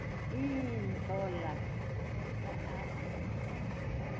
iintlola esa r